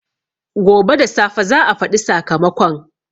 Gobe da safe za a faɗi sakamakon